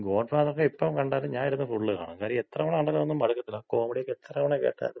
ഗോഡ്ഫാദറക്ക എപ്പൊ കണ്ടാലും ഞാനിരുന്ന് ഫുള്ള് കാണും. കാര്യം എത്ര തവണ കണ്ടാലും അതൊന്നും മടുക്കത്തില്ല. ആ കോമഡിയക്ക എത്ര തവണ കേട്ടാലും.